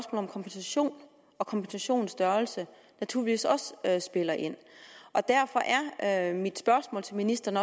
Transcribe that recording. om kompensation og kompensationens størrelse naturligvis også spiller ind og derfor er mit spørgsmål til ministeren